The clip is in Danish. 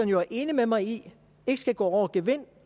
jo er enig med mig i ikke skal gå over gevind